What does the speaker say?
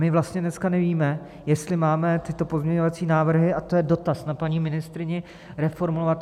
My vlastně dneska nevíme, jestli máme tyto pozměňovací návrhy, a to je dotaz na paní ministryni, reformulovat.